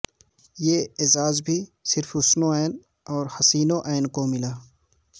یہ اعزاز بھی صرف حسن ع اور و حسین ع کو ملا